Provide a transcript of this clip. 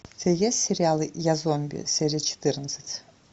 у тебя есть сериалы я зомби серия четырнадцать